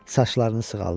Saçlarını sığallayırdı.